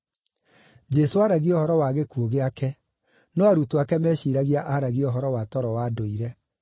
Jesũ aaragia ũhoro wa gĩkuũ gĩake, no arutwo ake meciiragia aaragia ũhoro wa toro wa ndũire.